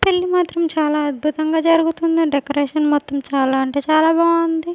పెళ్లి మాత్రం చాలా అద్భుతంగా జరుగుతుంది డెకరేషన్ మొత్తం చాలా అంటే చాలా బాగుంది.